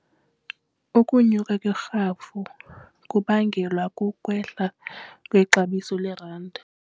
Ukunyuka kwerhafu kubangelwa kukwehla kwexabiso lerandi.